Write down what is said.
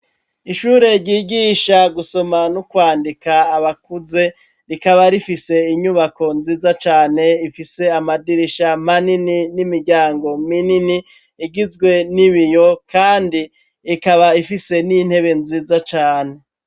Ishure ryigisha gusoma no kwandika abakuze rikaba rifise inyubako nziza cane ifise amadirisha manini n'imiryango minini igizwe n'ibiyo kandi ikaba ifise n'intebe nziza cane.